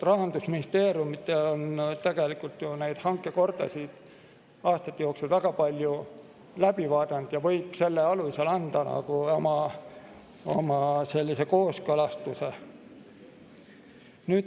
Rahandusministeerium on ju neid hankekordasid aastate jooksul väga palju läbi vaadanud ja võib selle alusel anda oma kooskõlastuse.